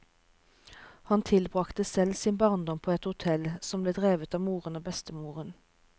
Han tilbrakte selv sin barndom på et hotell, som ble drevet av moren og bestemoren.